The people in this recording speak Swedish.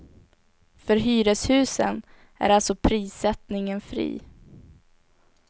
För hyreshusen är alltså prissättningen fri.